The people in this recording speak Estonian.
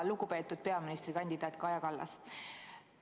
Lugupeetud peaministrikandidaat Kaja Kallas!